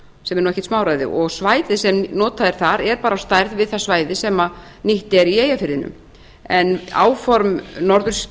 sem er ekkert smáræði og svæðið sem notað er þar er á stærð við það svæði sem nýt er í eyjafirðinum en áform